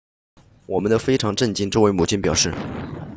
我们都非常震惊这位母亲表示